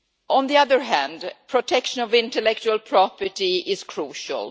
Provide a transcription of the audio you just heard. On the other hand, protection of intellectual property is crucial.